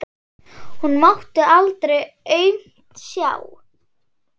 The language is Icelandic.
Hún mátti aldrei aumt sjá.